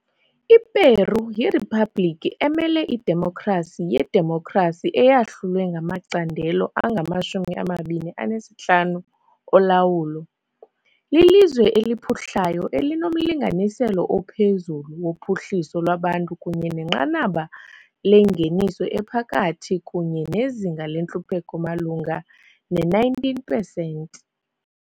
I-Peru yiriphabliki emele idemokhrasi yedemokhrasi eyahlulwe yangamacandelo angamashumi amabini anesihlanu olawulo. Lilizwe eliphuhlayo elinomlinganiselo ophezulu wophuhliso lwabantu kunye nenqanaba lengeniso ephakathi kunye nezinga lentlupheko malunga ne-19 pesenti.